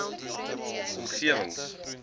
g omgewings h